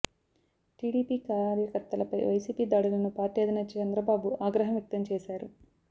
TDP కార్యకర్తలపై వైసీపీ దాడులను party అధినేత చంద్రబాబు ఆగ్రహం వ్యక్తం చేశారు